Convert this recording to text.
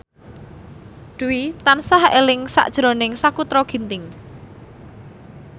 Dwi tansah eling sakjroning Sakutra Ginting